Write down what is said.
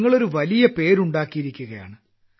നിങ്ങൾ ഒരു വലിയ പേര് ഉണ്ടാക്കിയിരിക്കുകയാണ്